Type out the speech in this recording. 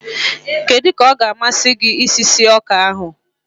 kedu ka ọ ga-amasị gị isi sie ọka ahụ?